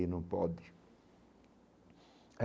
Aí não pode.